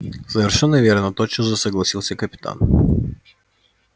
совершенно верно тотчас же согласился капитан